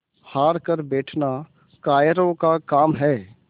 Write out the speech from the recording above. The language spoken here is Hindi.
हार कर बैठना कायरों का काम है